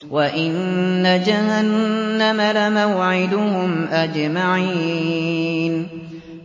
وَإِنَّ جَهَنَّمَ لَمَوْعِدُهُمْ أَجْمَعِينَ